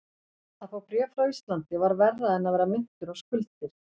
Að fá bréf frá Íslandi var verra en að vera minntur á skuldir.